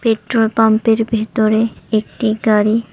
petrol পাম্পের ভেতরে একটি গাড়ি--